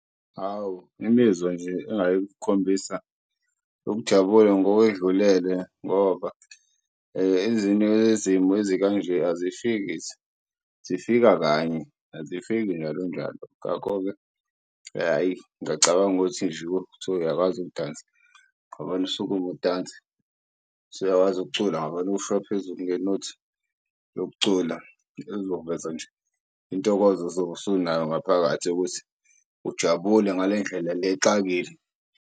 Hawu imizwa nje engaye-ke ukukhombisa ukujabula ngokwedlulele ngoba ezinye yezimo ezikanje asishiyi kithi zifika kanye azifiki njalo njalo. Ngakho-ke, hhayi ngiyacabanga ukuthi nje kuthiwa uyakwazi ukudansa usukume udanse, usuyakwazi ukucula ngoba mawusuka phezulu nge-note yokucula ezoveza nje intokozo ozobe usunayo ngaphakathi yokuthi ujabule ngale ndlela le exakile.